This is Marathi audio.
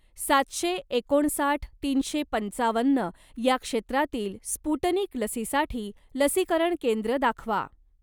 सातशे एकोणसाठ तीनशे पंचावन्न या क्षेत्रातील स्पुटनिक लसीसाठी लसीकरण केंद्र दाखवा.